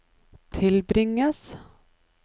tilbringes